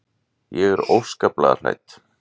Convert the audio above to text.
Ég er óskaplega hrædd.